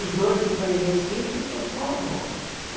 Os dois que estão em Recife sou só vó, né.